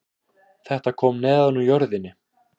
Þetta kom neðan úr jörðinni